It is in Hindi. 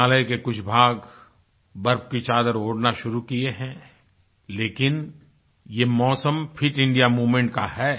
हिमालय के कुछ भाग बर्फ की चादर ओढ़ना शुरू किये हैं लेकिन ये मौसम फिट इंडिया मोमेंट का है